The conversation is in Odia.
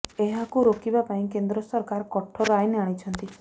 ଏହାକୁ ରୋକିବା ପାଇଁ କେନ୍ଦ୍ର ସରକାର କଠୋର ଆଇନ ଆଣିଛନ୍ତି